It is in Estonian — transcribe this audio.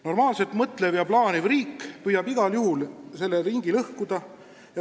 Normaalselt mõtlev ja plaaniv riik püüab igal juhul selle ringi lõhkuda.